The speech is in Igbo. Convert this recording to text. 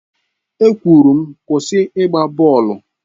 E kwụrụ m Kwụsị ịgba bọọlụ!